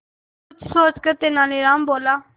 कुछ सोचकर तेनालीराम बोला